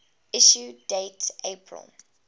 issue date april